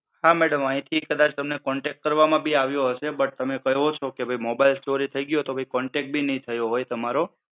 હા madam આઈથી કદાચ તમને contact કરવામાં બી આવ્યો હશે but તમે કહો mobile ચોરી થઈ ગ્યો તો contact બી ની થયો હોય તમારો.